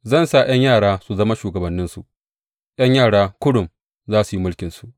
Zan sa ’yan yara su zama shugabanninsu; ’yan yara kurum za su yi mulkinsu.